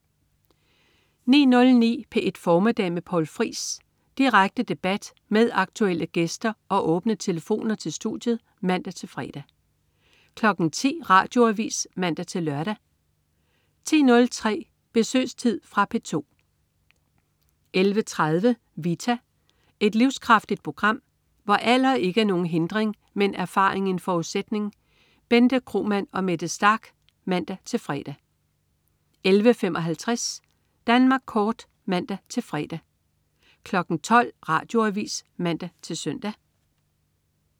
09.09 P1 Formiddag med Poul Friis. Direkte debat med aktuelle gæster og åbne telefoner til studiet (man-fre) 10.00 Radioavis (man-lør) 10.03 Besøgstid. Fra P2 11.30 Vita. Et livskraftigt program, hvor alder ikke er nogen hindring, men erfaring en forudsætning. Bente Kromann og Mette Starch (man-fre) 11.55 Danmark Kort (man-fre) 12.00 Radioavis (man-søn)